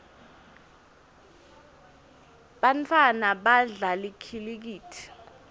bantfwana badlala likhilikithi